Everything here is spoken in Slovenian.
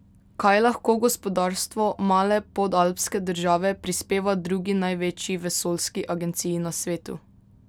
Kaj lahko gospodarstvo male podalpske države prispeva drugi največji vesoljski agenciji na svetu?